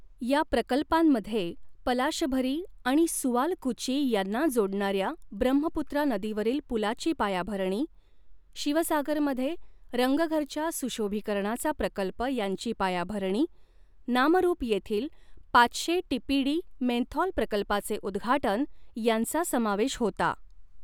या प्रकल्पांमध्ये पलाशभरी आणि सुआलकुची यांना जोडणाऱ्या ब्रह्मपुत्रा नदीवरील पुलाची पायाभरणी, शिवसागरमध्ये रंगघरच्या सुशोभीकरणाचा प्रकल्प यांची पायाभरणी, नामरुप येथील पाचशे टीपीडी मेन्थॉल प्रकल्पाचे उद्घाटन यांचा समावेश होता.